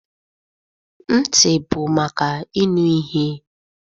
Ntị bụ maka ịnụ ihe.